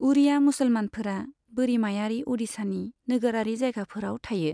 उड़िया मुसलमानफोरा बोरिमायारि अडिशानि नोगोरारि जायगाफोराव थायो।